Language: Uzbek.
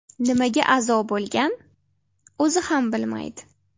Nimaga a’zo bo‘lgan, o‘zi ham bilmaydi.